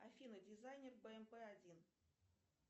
афина дизайнер бмп один